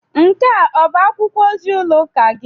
Nke a ọ bụ akwụkwọ ozi ụlọ ụka gị?